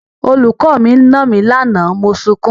Olùkọ́ mi nà mí lánàá mo sunkún.